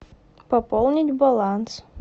пополнить баланс